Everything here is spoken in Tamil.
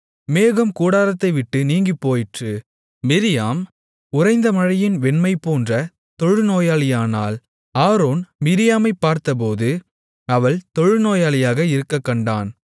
மேகம் கூடாரத்தை விட்டு நீங்கிப்போயிற்று மிரியாம் உறைந்த மழையின் வெண்மைபோன்ற தொழுநோயாளியானாள் ஆரோன் மிரியாமைப் பார்த்தபோது அவள் தொழுநோயாளியாக இருக்கக் கண்டான்